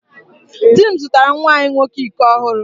Dị m zụtara nwa anyị nwoke iko ọhụụ.